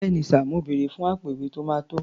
Bẹ́ẹ̀ni sà, mo bèrè fún àpò-ìwé tó máa tó.